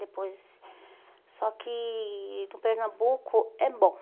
Depois... Só que no Pernambuco é bom.